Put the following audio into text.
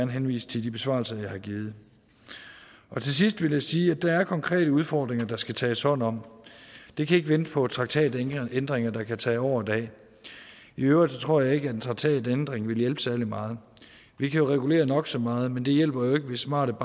henvise til de besvarelser jeg har givet til sidst vil jeg sige at der er konkrete udfordringer der skal tages hånd om det kan ikke vente på traktatændringer der kan tage år og dag i øvrigt tror jeg ikke at en traktatændring ville hjælpe særlig meget vi kan jo regulere nok så meget men det hjælper jo ikke hvis smarte